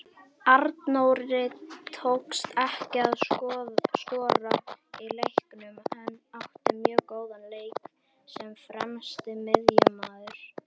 Arnóri tókst ekki að skora í leiknum en átti mjög góðan leik sem fremsti miðjumaður.